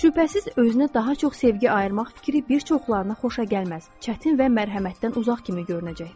Şübhəsiz özünə daha çox sevgi ayırmaq fikri bir çoxlarına xoşa gəlməz, çətin və mərhəmətdən uzaq kimi görünəcəkdir.